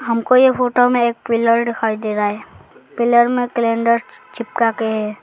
हम को ये फोटो में एक पिलर दिखाई दे रहा है पिलर में कैलेंडर चिपका के है।